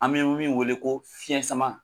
An bɛ min wele ko fiyɛn sama.